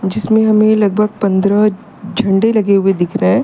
जिसमे हमें लगभग पंद्रह झंडे लगे हुए दिख रहे हैं।